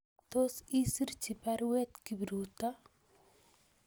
Tos isirchi baruet Kipruto